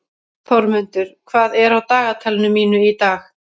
Þormundur, hvað er á dagatalinu mínu í dag?